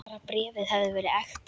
Bara bréfið hefði verið ekta!